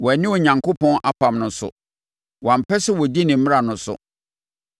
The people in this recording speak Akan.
Wɔanni Onyankopɔn apam no so wɔampɛ sɛ wɔdi ne mmara no so.